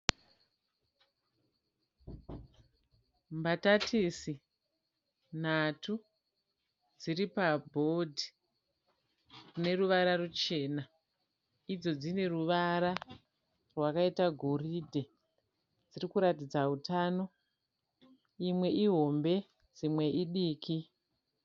Mbatatisi nhatu dziri pabhodhi rineruvara ruchena idzo dzine ruvara rwakaita goridhe dzirikuratidza hutano. Imwe ihombe dzimwe idiki.